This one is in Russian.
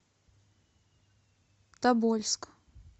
тобольск